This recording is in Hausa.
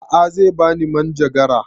A'a zai bani manjagara